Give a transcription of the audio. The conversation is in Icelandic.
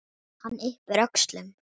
Hann yppir öxlum.